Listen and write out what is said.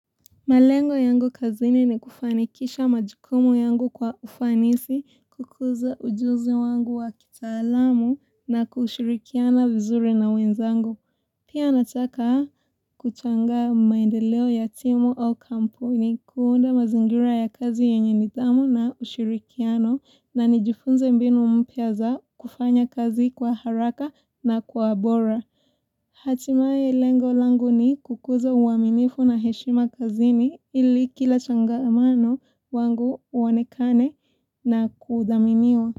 Malengo yangu kazini ni kufanikisha majukumu yangu kwa ufanisi, kukuza ujuzi wangu wa kitaalamu na kushirikiana vizuri na wenzangu. Pia nataka kuchanga maendeleo ya timu au kampuni kuunda mazingira ya kazi yenye nidhamu na ushirikiano na nijifunze mbinu mpya za kufanya kazi kwa haraka na kwa bora. Hatimae lengo langu ni kukuza uaminifu na heshima kazini ili kila changamano wangu uwonekane na kudhaminiwa.